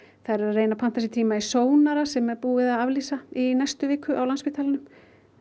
þær eru að reyna að panta sér tíma í sónar sem er búið að aflýsa í næstu viku á Landspítalanum